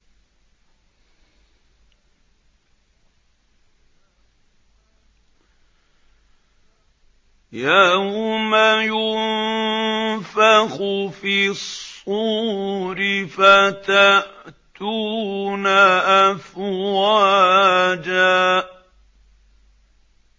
يَوْمَ يُنفَخُ فِي الصُّورِ فَتَأْتُونَ أَفْوَاجًا